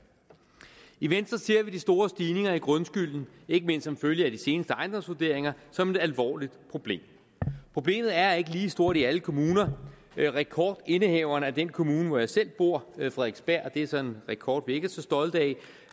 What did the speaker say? i venstre ser vi de store stigninger i grundskylden ikke mindst som følge af de seneste ejendomsvurderinger som et alvorligt problem problemet er ikke lige stort i alle kommuner rekordindehaveren er den kommune hvor jeg selv bor frederiksberg og det er så en rekord vi ikke er så stolte